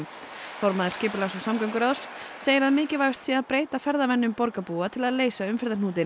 formaður skipulags og samgönguráðs segir að mikilvægast sé að breyta ferðavenjum borgarbúa til að leysa umferðarhnútinn